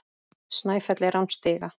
Snæfell er án stiga.